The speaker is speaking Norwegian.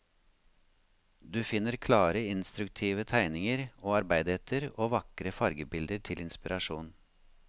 Du finner klare, instruktive tegninger å arbeide etter og vakre fargebilder til inspirasjon.